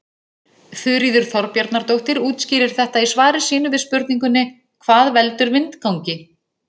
Þuríður Þorbjarnardóttir útskýrir þetta í svari sínu við spurningunni Hvað veldur vindgangi?